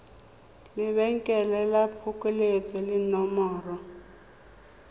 lebenkele la phokoletso le nomoro